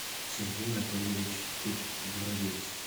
сергей анатольевич горовец